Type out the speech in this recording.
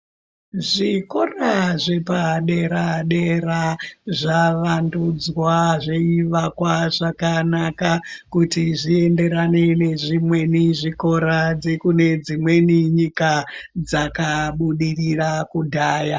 Zvikora zvepadera-dera zvavandudzwa zveivakwa zvakanaka kuti zvienderane nezvimweni zvikora dzekune dzimweni nyika dzakabudirira kudhaya.